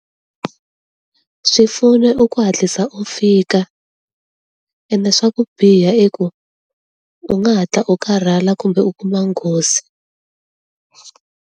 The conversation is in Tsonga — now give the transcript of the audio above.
Swipfuno i ku hatlisa u fika, ende swa ku biha i ku, u nga hatla u karhala kumbe u kuma nghozi.